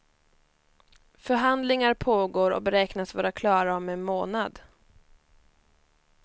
Förhandlingar pågår och beräknas vara klara om en månad.